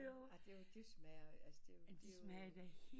Det smager altså